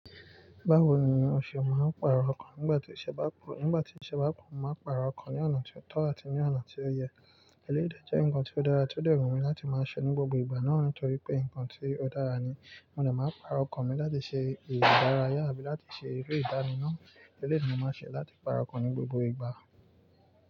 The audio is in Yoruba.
Báwo ni o ṣe máa ń pàrọ̀ ọkàn nígbà tí iṣẹ́ bá pọ̀? Nígbà tí iṣẹ́ bá pọ̀, mo máa pàrọ̀ ọkàn ní ọ̀nà tó tọ́ àti ní ọ̀nà tí ó yẹ. Eléyi dẹ̀ jẹ́ nǹkan tó dára tí ó dẹ wù mí láti máa ṣe ní gbogbo ìgbà náà nítorí pé nǹkan tí ó dára ni. Mo lè máa pàrọ̀ ọkàn mi láti ṣe ìdárayá àbí láti ṣe eré ìdáná. Eleyi ni mo máa ń ṣe láti paarọ ọ́kan ní gbogbo ìgbà.